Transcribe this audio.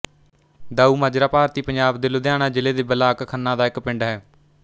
ਦਾਊ ਮਾਜਰਾ ਭਾਰਤੀ ਪੰਜਾਬ ਦੇ ਲੁਧਿਆਣਾ ਜ਼ਿਲ੍ਹੇ ਦੇ ਬਲਾਕ ਖੰਨਾ ਦਾ ਇੱਕ ਪਿੰਡ ਹੈ